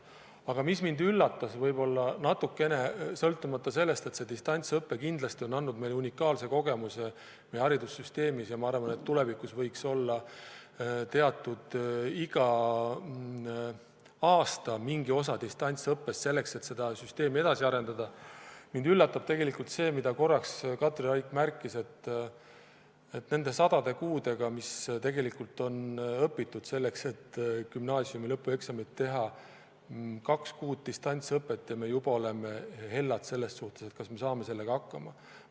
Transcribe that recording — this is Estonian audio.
Aga mis mind võib-olla natukene üllatas – sõltumata sellest, et distantsõpe on andnud meile unikaalse kogemuse, ja ma arvan, et tulevikus võiks igal aastal olla teatud mahus ka distantsõpet, et saaksime seda süsteemi edasi arendada – oli tegelikult see, mida Katri Raik märkis, et arvestades neid paljusid kuid, mis tegelikult on gümnaasiumi lõpueksamite jaoks õpitud, muudab kaks kuud distantsõpet meid juba hellaks ja tekitab küsimusi, kas me saame eksamitega ikka hakkama.